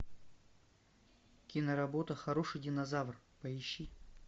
киноработа хороший динозавр поищи